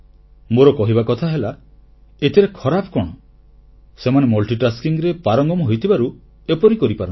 ମୋର କହିବା କଥା ହେଲା ଏଥିରେ ଖରାପ କଣ ସେମାନେ ବହୁମୂଖୀ କାର୍ଯ୍ୟରେ ପାରଙ୍ଗମ ହୋଇଥିବାରୁ ଏପରି କରିପାରନ୍ତି